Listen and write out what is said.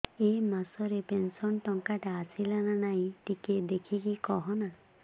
ଏ ମାସ ରେ ପେନସନ ଟଙ୍କା ଟା ଆସଲା ନା ନାଇଁ ଟିକେ ଦେଖିକି କହନା